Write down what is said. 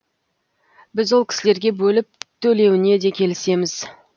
біз ол кісілерге бөліп төлеуіне де келісеміз